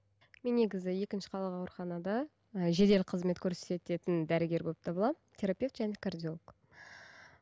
мен негізі екінші қалалық ауруханада жедел қызмет көрсететін дәрігер болып табыламын терапевт және кардиолог